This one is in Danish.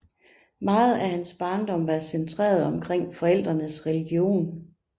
Meget af hans barndom var centreret omkring forældrenes religion